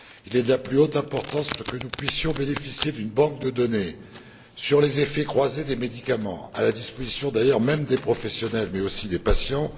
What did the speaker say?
Il est de la plus haute importance que nous puissions bénéficier d'une banque de données sur les effets croisés des médicaments, à la disposition d'ailleurs même des professionnels, mais aussi des patients.